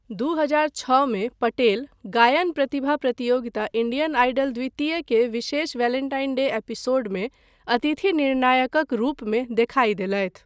दू हजार छओ मे, पटेल गायन प्रतिभा प्रतियोगिता इंडियन आइडल द्वितीय के विशेष वेलेंटाइन डे एपिसोडमे अतिथि निर्णायकक रूपमे देखाय देलथि।